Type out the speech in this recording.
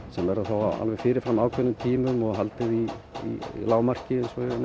sem verða þá á fyrir fram ákveðnum tímum og haldið í lágmarki